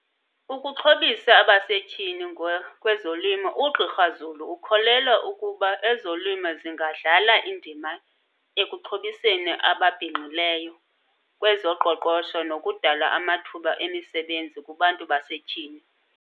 Ukuxhobisa abasetyhini ngokwezolimo. UGqr Zulu ukholelwa ukuba ezolimo zingadlala indima ekuxhobiseni ababhinqileyo kwezoqoqosho nokudala amathuba emisebenzi kubantu basetyhini.